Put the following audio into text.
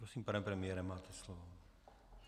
Prosím, pane premiére, máte slovo.